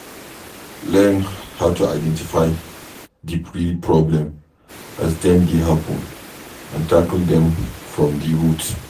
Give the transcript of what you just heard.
Learn how to identify di real problem as dem dey happen and tackle dem from di root